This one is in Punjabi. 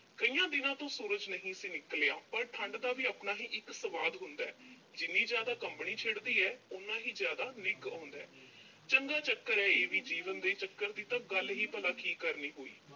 ਕਈਆਂ ਦਿਨਾਂ ਤੋਂ ਸੂਰਜ ਨਹੀਂ ਸੀ ਨਿਕਲਿਆ, ਪਰ ਠੰਢ ਦਾ ਵੀ ਆਪਣਾ ਹੀ ਇੱਕ ਸਵਾਦ ਹੁੰਦਾ। ਜਿੰਨੀ ਜ਼ਿਆਦਾ ਕੰਬਣੀ ਛਿੜਦੀ ਆ, ਓਨਾ ਹੀ ਜ਼ਿਆਦਾ ਨਿੱਘ ਆਉਂਦਾ। ਚੰਗਾ ਚੱਕਰ ਆ ਇਹ ਵੀ, ਜੀਵਨ ਦੇ ਚੱਕਰ ਦੀ ਤਾਂ ਗੱਲ ਹੀ ਕੀ ਕਰਨੀ ਹੋਈ।